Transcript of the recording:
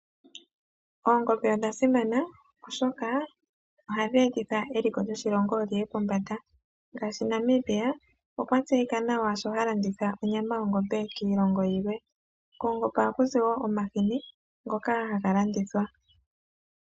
Oongombe odha simana oshoka ohadhi etitha eliko lyoshilongo li ye pombanda. Ngaashi Namibia okwa tseyika nawa sho ha landitha onyama kiilongo yilwe. Koongombe ohakuzi wo omahini ngoka haga landithwa.